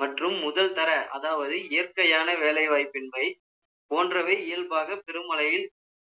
மற்றும் முதல் தர அதாவது இயற்கையான வேலை வாய்ப்பின்மை போன்றவை இயல்பாக திருமலையில்